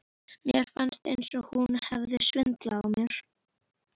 Sólin glampaði á þau í logninu.